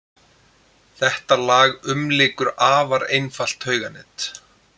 Þetta lag umlykur afar einfalt tauganet.